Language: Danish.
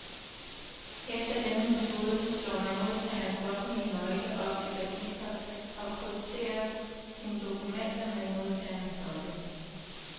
Efter denne metode slår man modtagerens offentlige nøgle op i registret, og krypterer sine dokumenter med modtagerens nøgle.